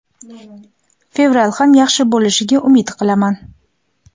Fevral ham yaxshi bo‘lishiga umid qilaman.